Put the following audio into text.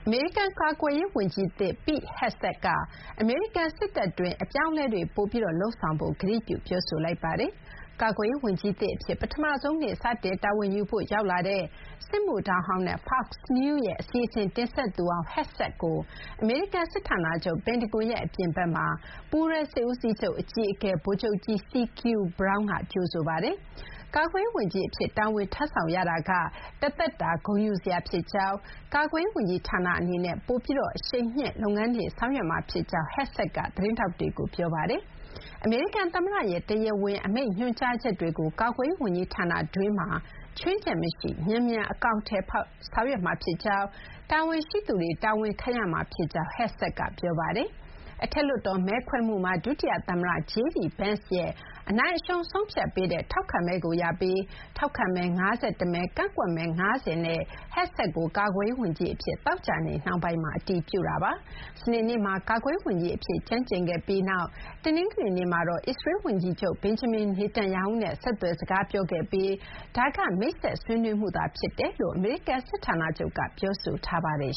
မေရိကန်ကာကွယ်ရေး ဝန်ကြီးသစ် Pete Hegseth က အမေရိကန်စစ်တပ်အတွင်း အပြောင်းအလဲတွေ ပိုပြီးလုပ်ဆောင်ဖို့ ကတိပြုပြောဆိုလိုက်ပါတယ်။ ကာကွယ်ရေးဝန်ကြီးသစ်အဖြစ် ပထမဆုံးနေ့ စတင်တာဝန်ယူဖို့ ရောက်လာတဲ့ စစ်မှုထမ်းဟောင်းနဲ့ Fox News ရဲ့ အစီအစဉ် တင်ဆက်သူဟောင်း Hegseth ကို အမေရိကန် စစ်ဌာနချုပ် ပင်တဂွန်ရဲ့ အပြင်ဘက်မှာ ပူးတွဲ စစ်ဦးစီးချုပ် အကြီးအကဲ ဗိုလ်ချုပ်ကြီး CQ Brown က ကြိုဆိုပါတယ်။ ကာကွယ်ရေး ဝန်ကြီးအဖြစ် တာဝန်ထမ်းဆောင်ရတာက တသက်တာဂုဏ်ယူစရာ ဖြစ်ကြောင်း၊ ကာကွယ်ရေး ဝန်ကြီးဌာနအနေနဲ့ ပိုပြီး အရှိန်မြှင့် လုပ်ငန်းတွေ ဆောင်ရွက်မှာ ဖြစ်ကြောင်းလည်း Hegseth က သတင်းထောက်တွေကို ပြောခဲ့ပါတယ်။ အမေရိကန် သမ္မတရဲ့ တရားဝင် အမိန့်ညွှန်ကြားချက်တွေကို ကာကွယ်ရေးဝန်ကြီးဌာနတွင်းမှာ ခြွင်းချက် မရှိ မြန်မြန် အကောင်အထည်ဖော် ဆောင်ရွက်မှာဖြစ်ကြောင်း၊ တာဝန်ရှိသူတွေ တာဝန်ခံရမှာ ဖြစ်ကြောင်း Hegseth က ပြောပါတယ်။ အထက်လွှတ်တော် မဲခွဲမှုမှာဒုတိယ သမ္မတ JD Vance ရဲ့ အနိုင်အရှုံးဆုံးဖြတ်ပေးတဲ့ ထောက်ခံမဲကို ရပြီး ထောက်ခံမဲ ၅၁ မဲ၊ ကန့်ကွက်မဲ ၅၀ နဲ့ Hegseth ကို ကာကွယ်ရေးဝန်ကြီးအဖြစ် သောကြာနေ့ နှောင်းပိုင်းမှာ အတည်ပြုခဲ့တာပါ။ စနေနေ့မှာ ကာကွယ်ရေးဝန်ကြီးအဖြစ် ကျမ်းကျိန်ခဲ့ပြီးနောက် တနင်္ဂနွေနေ့မှာတော့ အစ္စရေးလ် ဝန်ကြီးချုပ် Benjamin Netanyahu နဲ့ ဆက်သွယ် စကားပြောခဲ့ပြီး ဒါက မိတ်ဆက်ဆွေးနွေးမှု ဖြစ်တယ်လို့ အမေရိကန် စစ်ဌာနချုပ် ပင်တဂွန်က ပြောဆိုထားပါတယ်